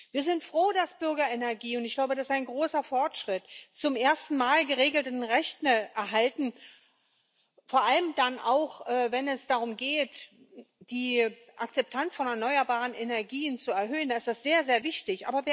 Wir sind froh, dass Bürgerenergien und ich glaube, das ist ein großer Fortschritt zum ersten Mal geregelte Rechte erhalten, vor allem auch dann, wenn es darum geht, die Akzeptanz von erneuerbaren Energien zu erhöhen, ist das sehr, sehr wichtig.